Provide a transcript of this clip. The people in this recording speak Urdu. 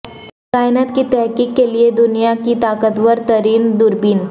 کائنات کی تحقیق کے لیے دنیا کی طاقت ور ترین دوربین